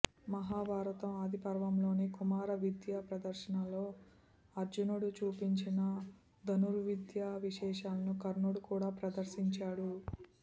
మహాభారతం ఆదిపర్వంలోని కుమార విద్యా ప్రదర్శనలో అర్జునుడు చూపించిన ధనుర్విద్యా విశేషాలను కర్ణుడు కూడా ప్రదర్శించాడు